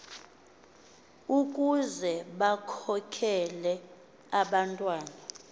ukuze bakhokele abantwana